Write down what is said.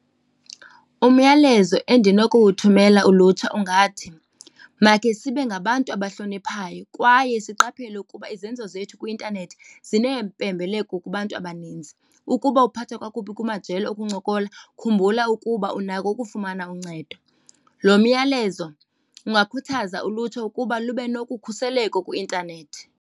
Umyalezo endinokuwuthumela ulutsha ungathi, makhe sibe ngabantu abazihloniphayo kwaye siqaphele ukuba izenzo zethu kwi-intanethi zineempembeleko kubantu abaninzi. Ukuba uphathwa kakubi kumajelo okuncokola khumbula ukuba unako ukufumana uncedo. Lo myalezo ungakhuthaza ulutsha ukuba lube nokukhuseleko kwi-intanethi.